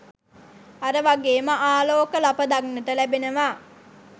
අර වගේම ආලෝක ලප දක්නට ලැබෙනවා.